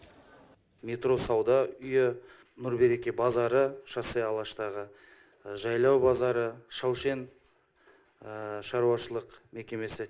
метро сауда үйі нұр береке базары шоссе алаштағы жайлау базары шаушен шаруашылық мекемесі